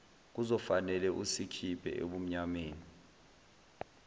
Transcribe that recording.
kuzofanele usikhiphe ebumnyameni